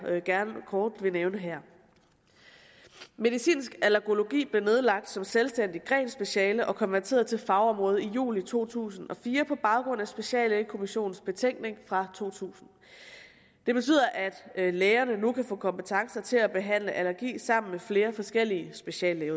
gerne kort vil nævne her medicinsk allergologi blev nedlagt som selvstændigt grenspeciale og konverteret til fagområde i juli to tusind og fire på baggrund af speciallægekommissionens betænkning fra to tusind det betyder at lægerne nu kan få kompetence til at behandle allergi sammen med flere forskellige speciallæger